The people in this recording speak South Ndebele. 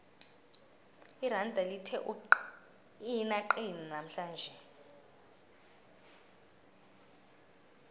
iranda lithe ukuqinaqina namhlanje